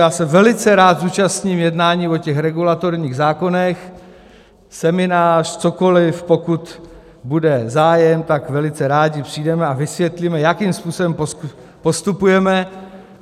Já se velice rád zúčastním jednání o těch regulatorních zákonech, seminář, cokoli, pokud bude zájem, tak velice rádi přijdeme a vysvětlíme, jakým způsobem postupujeme.